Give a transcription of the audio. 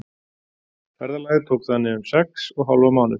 Ferðalagið tók þannig um sex og hálfan mánuð.